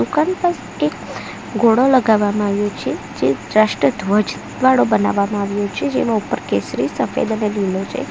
દુકાન પર એક ઘોડો લગાવવામાં આવ્યો છે જે રાષ્ટ્ર ધ્વજ વાળો બનાવવામાં આવ્યો છે જેનો ઉપર કેસરી સફેદ અને લીલો છે.